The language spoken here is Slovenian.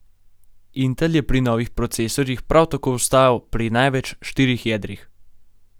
Intel je pri novih procesorjih prav tako ostal pri največ štirih jedrih.